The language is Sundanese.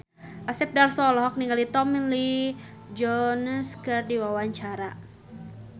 Asep Darso olohok ningali Tommy Lee Jones keur diwawancara